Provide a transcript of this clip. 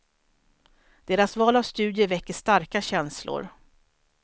Deras val av studier väcker starka känslor.